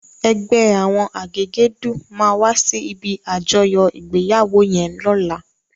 Ègbè áwòn àgégèdú má wàsí ibi ájòyò igbéyáwó yèn lòlá